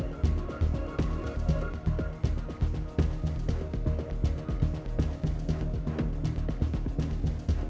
við